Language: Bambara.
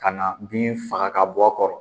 Ka na bin faga ka bɔ a kɔrɔ